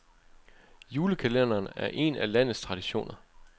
Julekalenderen er en af landets traditioner.